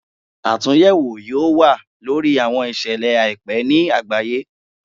Atunyẹwo yoo wa lori awọn iṣẹlẹ aipẹ ni agbaye